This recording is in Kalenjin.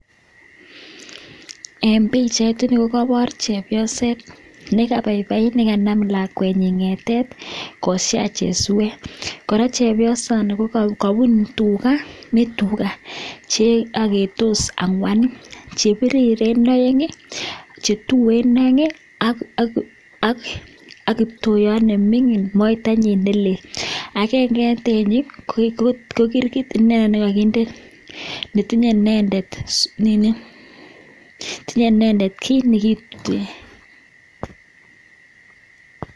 Eng pichaiit kokepar chepyosoo nepai paii ak lakwet nyiin ngetet eng suweeet ako keburchii tugaaa cheagetoos ako agennge eng tuchuu kokirgit